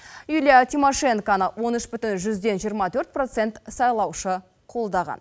юлия тимошенконы он үш бүтін жүзден жиырма төрт процент сайлаушы қолдаған